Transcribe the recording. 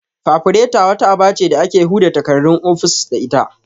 Fafureta' wata aba ce da ake huda takardun ofis da ita